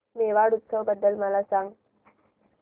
मेवाड उत्सव बद्दल मला सांग